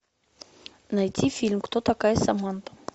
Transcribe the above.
найти фильм кто такая саманта